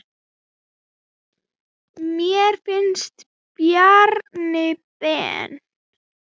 Mér finnst Bjarni Ben.